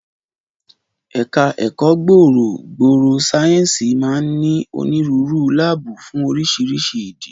Ẹ̀ka ẹ̀kọ́ gbòòrò gbòòrò sáyẹ́ǹsì máa ń ní onírúurú láàbù fún oríṣiríṣi ìdí